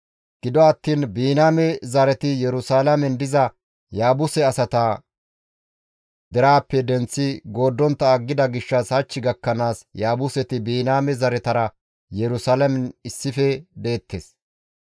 Gido attiin Biniyaame zareti Yerusalaamen diza Yaabuse asata deraappe denththi gooddontta aggida gishshas hach gakkanaas Yaabuseti Biniyaame zaretara Yerusalaamen issife deettes.